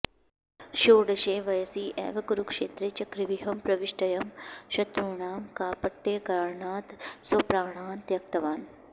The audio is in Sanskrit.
षोडशे वयसि एव कुरुक्षेत्रे चक्रव्यूहं प्रविष्टोऽयं शत्रूणां कापट्यकारणात् स्वप्राणान् त्यक्तवान्